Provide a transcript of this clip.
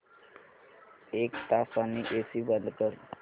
एक तासाने एसी बंद कर